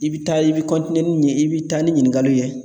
I bɛ taa i bɛ ni nin ye i bɛ taa ni ɲininkaliw ye